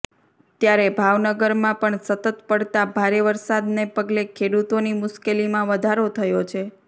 ત્યારે ભાવનગરમાં પણ સતત પડતાં ભારે વરસાદને પગલે ખેડૂતોની મુશ્કેલીમાં વધારો થયો છે